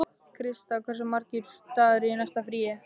Krista, hversu margir dagar fram að næsta fríi?